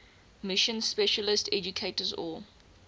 mission specialist educators or